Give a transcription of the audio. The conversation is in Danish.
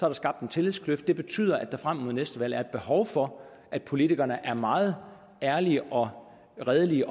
har skabt en tillidskløft og det betyder at der frem mod næste valg er et behov for at politikerne er meget ærlige og redelige i